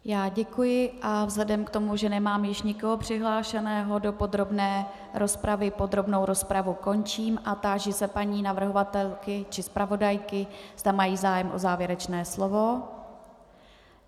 Já děkuji a vzhledem k tomu, že nemám již nikoho přihlášeného do podrobné rozpravy, podrobnou rozpravu končím a táži se paní navrhovatelky či zpravodajky, zda mají zájem o závěrečné slovo.